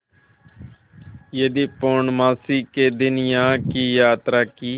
यदि पूर्णमासी के दिन यहाँ की यात्रा की